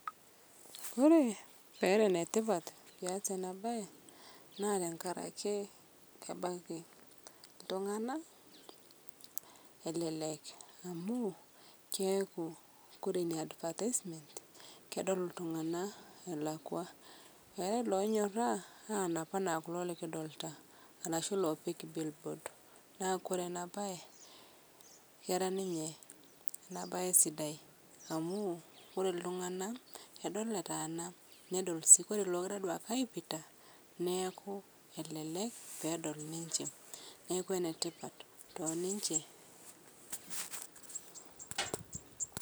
Kore peera netipat pias ana bai naa tankarakee kebakii ltung'ana elelek amu keaku kore inia advertisement kedol ltung'ana elakwa eatai lonyoraa anap anaa kuloo likidolita arashu loopik billboard naa kore ana bai kera ninye ena bai sidai amu kore ltung'ana edol etaana nedol sii kore logiraa aipita neaku elelek pedol ninshe neaku netipat toninshe.